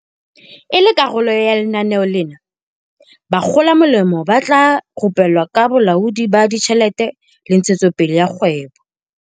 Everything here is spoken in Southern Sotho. E le karolo ya lenaneo lena, bakgolamolemo ba tla rupellwa ka bolaodi ba ditjhelete le ntshetsopele ya kgwebo.